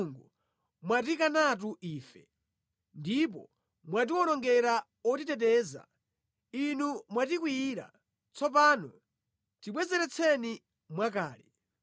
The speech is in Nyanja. Inu Mulungu mwatikanatu ife, ndipo mwatiwonongera otiteteza. Inu mwatikwiyira, tsopano tibwezeretseni mwakale!